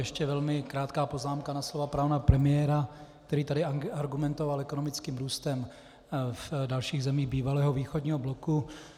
Ještě velmi krátká poznámka na slova pana premiéra, který tady argumentoval ekonomickým růstem v dalších zemích bývalého východního bloku.